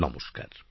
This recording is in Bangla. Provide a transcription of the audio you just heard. নমস্কার